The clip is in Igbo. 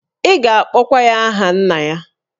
Ị ga-akpọkwa ya aha nna ya.